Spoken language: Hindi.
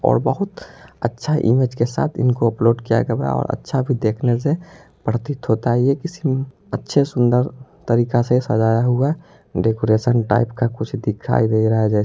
और बहुत अच्छा इमेज के साथ इनको अपलोड किया गबा और अच्छा भी देखने से प्रतीत होता है ये किसी अच्छे सुन्दर तरीका से सजाया हुआ डेकोरेशन टाइप का कुछ दिखाई दे रहा जै --